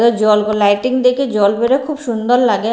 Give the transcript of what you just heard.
জল লাইটিং থাকে জল বেড়াই খুব সুন্দর লাগে।